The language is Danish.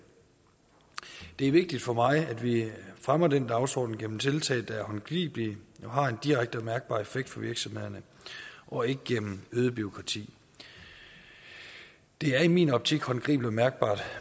det er vigtigt for mig at vi fremmer den dagsorden gennem tiltag der er håndgribelige og har en direkte og mærkbar effekt for virksomhederne og ikke gennem øget bureaukrati det er i min optik håndgribeligt og mærkbart